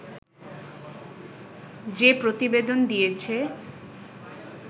যে প্রতিবেদন দিয়েছে